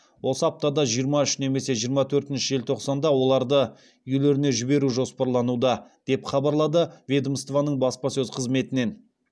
осы аптада жиырма үш немесе жиырма төртінші желтоқсанда оларды үйлеріне жіберу жоспарлануда деп хабарлады ведомствоның баспасөз қызметінен